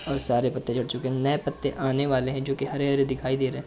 और सारे पत्ते झाड चुके हैं और नऐ पत्ते आने वाले हैं जोकि हरे-हरे दिखाई दे रहे हैं।